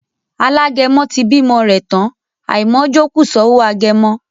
Alágẹmọ ti bímọ rẹ̀ tán, àìmọ̀ọ́jó kù sọ́wọ́ agẹmọ